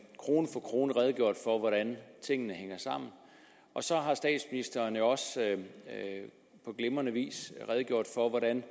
krone for krone redegjort for hvordan tingene hænger sammen så har statsministeren også på glimrende vis redegjort for hvordan